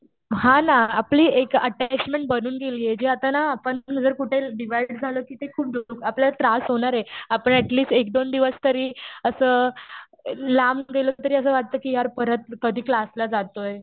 हा ना. आपली एक अटॅचमेंट बनून गेलीय. जी आता ना आपण जर कुठे डिव्हाइड झालो तिथे खूप आपल्याला त्रास होणार आहे. आपण ऍटलीस्ट एक-दोन दिवस तरी असं लांब गेलो तरी असं वाटतं कि यार परत कधी क्लासला जातोय.